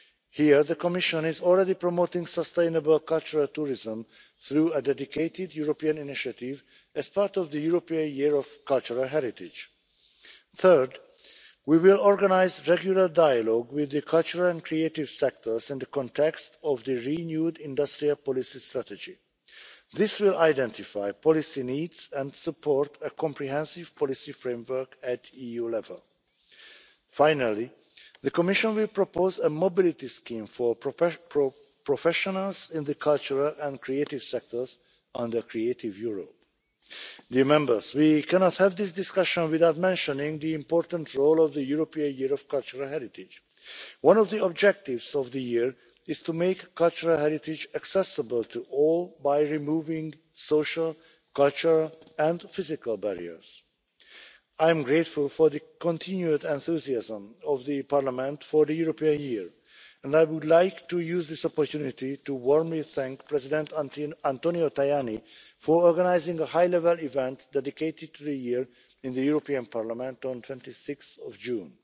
on culture. Here the Commission is already promoting sustainable cultural tourism through a dedicated European initiative as part of the European Year of Cultural Heritage. Third, we will organise regular dialogue with the cultural and creative sectors in the context of the renewed industrial policy strategy. This will identify policy needs and support a comprehensive policy framework at EU level. Finally, the Commission will propose a mobility scheme for professionals in the cultural and creative sectors under Creative Europe. We cannot have this discussion without mentioning the important role of the European Year of Cultural Heritage. One of the objectives of the year is to make cultural heritage accessible to all by removing social, cultural and physical barriers. I am grateful for the continued enthusiasm of the Parliament for the European Year, and I would like to use this opportunity to warmly thank President Antonio Tajani for organising a high level event dedicated to the year in the European Parliament